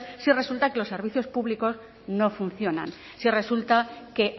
si resulta que los servicios públicos no funcionan si resulta que